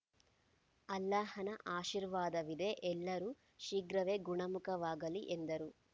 ಅಲ್ಲಾಹನ ಆಶೀರ್ವಾದವಿದೆ ಎಲ್ಲರೂ ಶೀಘ್ರವೇ ಗುಣಮುಖವಾಗಲಿ ಎಂದರು